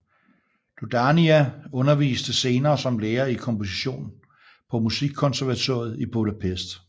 Dohnányi underviste senere som lærer i komposition på Musikkonservatoriet i Budapest